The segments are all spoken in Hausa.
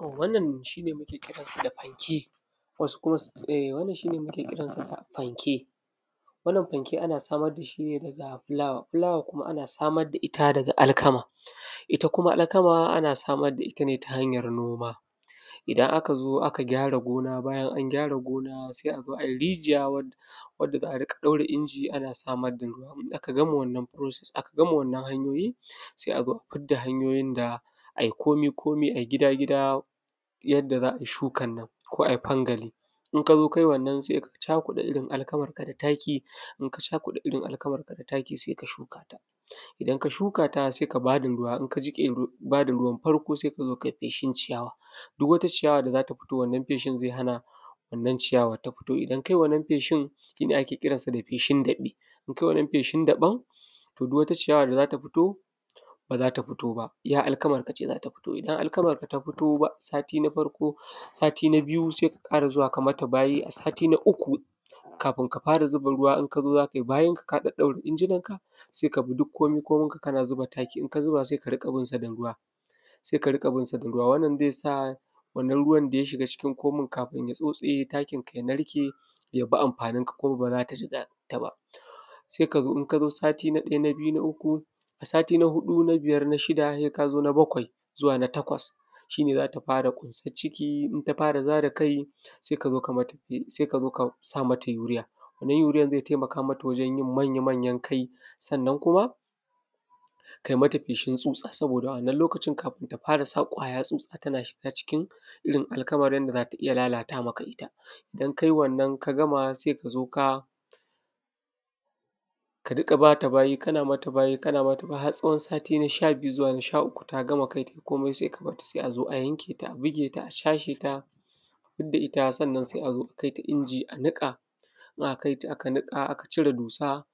Wannan shi ne muke kiran sa da fanke wasu kuma su ce wannnan shi ne muke kiran sa fanke. Wannan fanke ana samar da shi ne daga fulawa, fulawa kuma ana samar da ita ne daga alkama ita kuma alkama ana samar da ita ne ta hanyar noma. Idan aka zo aka gyara gona, bayan an gyara gona sai a zo a yi rijiya wad; wadda za a riƙa ɗaura inji ana samar da ruwa, in aka gama wannan “process” aka gama wannan hanyoyi sai a zo a fid da hanyoyin da ai komi-komi ai gida-gida yadda za ai shukan nan ko ai fangali. In ka zo kai wannan sai ka cakuɗa irin alkamarka da taki in ka cakuɗa irin alkamarka da taki sai ka shuka ta, idan ka shukata sai ka ba da ruwa, in ka jiƙe ru; ba da ruwan farko sai ka zo kai feshin ciyawa, duk wata ciyawa da za ta futo wannan feshin ze hana wannan ciyawa ta futo. Idan kai wannan feshin shi ne ake kiran sa da feshin daƃe. In kai wannan feshin daƃan to duk wata ciyawa da za ta futo ba za ta futo ba, iya alkamarka ce za ta futo, ba za ta futo ba, iya alkamarka ce za ta futo, idan alkamarka ta futo ba a sati na farko, sati na biyu se ka ƙara zuwa ka mata bayi a sati na uku kafin ka ƙara zuba ruwa, in ka zo za kai bayinka ka ɗaddaura injinanka se ka bi duk komi-kominka kana zuba taki in ka zuba sai ka riƙa bin sa da ruwa sai ka riƙa bin sa da ruwa, wannan ze sa wannan ruwan da ya shiga cikin komin kafin ya tsotse takinka ya narke ya bi anfaninka kuma ba za ta jigata ba se ka zo in ka zo sati na ɗaya na biyu na uku a sati na huɗu na biyar na shida he ka zo na bakwai zuwa na takwas shi ne za ta fara ƙunsan ciki in ta fara zara kai se ka zo ka zo ka mata fe se ka zo ka sa mata yuriya wannan yuriyan ze temaka mata wajen yin manya-manyan kai, sannan kuma kai mata feshin tsutsa saboda a wannan lokacin kafin ta fara sa ƙwaya tsutsa tana shiga cikin irin alkamar yanda za ta iya lalata maka ita, idan kai wannan ka gama se ka zo ka ka riƙa ba ta bayi kana mata bayi har tsawon sati na sha biyu zuwa na sha uku ta gama kai tai komai se ka bat ta se a zo a yanke ta a bige ta a cashe ta a fid da ita sannan se a zo a kai ta inji a niƙa, in aka kai ta aka niƙa aka cire dusa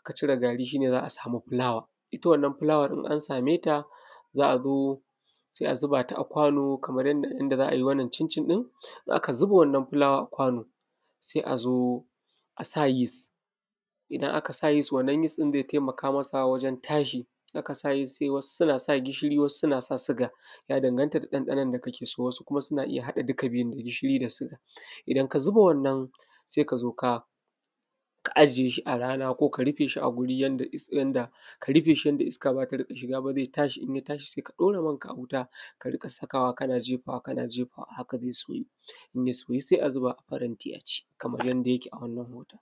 aka cire gari shi ne za a samu fulawa, ita wannan fulawar in an same ta za a zo se a zuba ta a kwano kamar yanda inda za ai wannan cincin ɗin in aka zuba wannan fulawa a kwano se a zo a sa yis idan aka sa yis wannan yis ɗin ze temaka masa wajen tashi, in aka sa yis se wasu suna sa gishiri wasu suna sa siga ya danganta da ɗanɗanon da kake so, sannan wasu kuma suna iya haɗa duka biyun da gishiri da siga idan ka zuba wannan se ka zo ka ka ajiye shi a rana ko ka rife shi a guri yanda is: yanda ka rife shi yanda iska ba za ta iya shiga ba ze tashi in ya tashi se ka ɗora manka a wuta ka riƙa sakawa kana jefawa kana jefawa haka ze soyu in ya soyu se a zuba a faranti a ci kamar yanda yake a wannan hotan